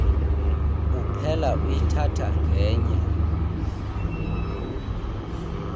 uphela uyithatha ngenye